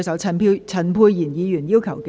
陳沛然議員要求點名表決。